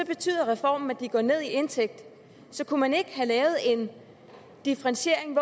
betyder reformen at de går ned i indtægt så kunne man ikke have lavet en differentiering